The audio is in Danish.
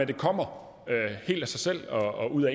det kommer helt af sig selv og ud af